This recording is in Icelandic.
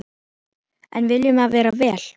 En viljum við vera vél?